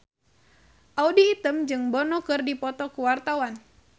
Audy Item jeung Bono keur dipoto ku wartawan